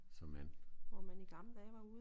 Så man